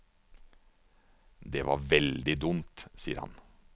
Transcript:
Det var veldig dumt, sier han.